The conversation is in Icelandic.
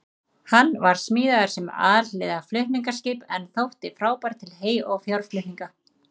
Hann var smíðaður sem alhliða flutningaskip en þótti frábær til hey- og fjárflutninga.